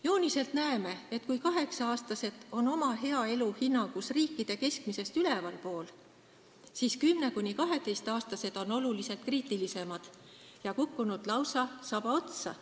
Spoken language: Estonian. Jooniselt näeme, et kui 8-aastased on oma heaoluhinnangus riikide keskmisest ülevalpool, siis 10–12-aastased on oluliselt kriitilisemad ja kukkunud lausa sabaotsa.